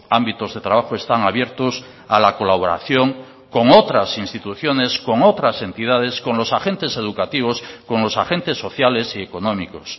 ámbitos de trabajo están abiertos a la colaboración con otras instituciones con otras entidades con los agentes educativos con los agentes sociales y económicos